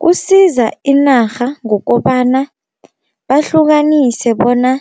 Kusiza inarha ngokobana bahlukanise bona